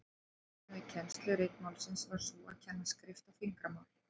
Aðferðin við kennslu ritmálsins var sú að kenna skrift og fingramál.